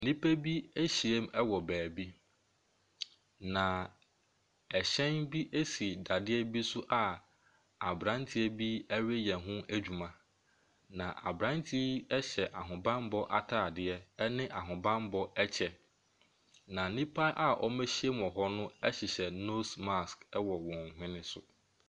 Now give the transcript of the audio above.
Nnipa bi ahyiam wɔ baabi. Na ɛhyɛn bi si dadeɛ bi so a abranteɛ bi reyɛ ho adwuma. Na abranteɛ yi hyɛ ahobanmmɔ ataadeɛ. Ɛne ahobanmmɔ kyɛ. Na nnipa a wɔahyiam wɔ hɔ no hyehyɛ nose marsk wɔ wɔn hwene so.